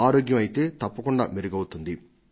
ఆరోగ్యం అయితే తప్పకుండా మెరుగవుతుంది